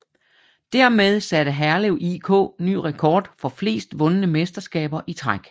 Dermed satte Herlev IK ny rekord for flest vundne mesterskaber i træk